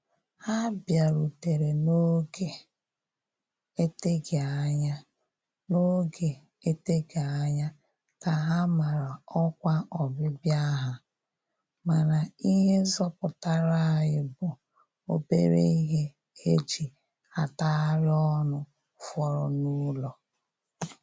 Ha bịarutere n'oge eteghị anya n'oge eteghị anya ka ha mara ọkwe ọbịbịa ha, mana ihe zọpụtara anyị bụ obere ihe e ji atagharị ọnụ fọrọ n'ụlọ